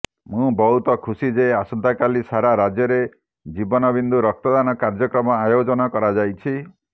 ମୁଁ ବହୁତ ଖୁସି ଯେ ଆସନ୍ତାକାଲି ସାରା ରାଜ୍ୟରେ ଜୀବନ ବିନ୍ଦୁ ରକ୍ତଦାନ କାର୍ଯ୍ୟକ୍ରମ ଆୟୋଜନ କରାଯାଇଛି